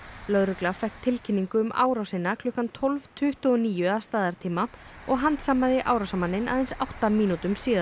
lögregla fékk tilkynningu um árásina klukkan tólf tuttugu og níu að staðartíma og handsamaði árásarmanninn aðeins átta mínútum síðar